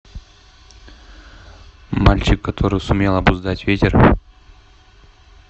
мальчик который сумел обуздать ветер